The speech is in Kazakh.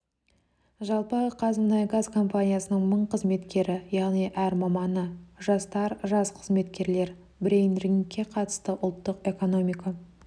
жалпы қазмұнайгаз компаниясының мың қызметкері яғни әр маманы жастар жас қызметкерлер брейн рингке қатысты ұлттық экономика